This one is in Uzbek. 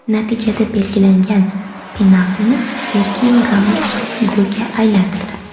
Natijada belgilangan penaltini Serxio Ramos golga aylantirdi.